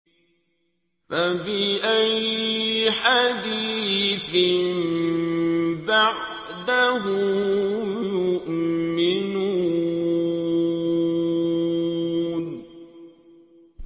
فَبِأَيِّ حَدِيثٍ بَعْدَهُ يُؤْمِنُونَ